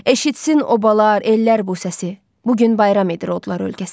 Eşitsin obalar, ellər bu səsi, bu gün bayram edir odlar ölkəsi.